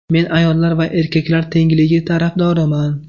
Men ayollar va erkaklar tengligi tarafdoriman.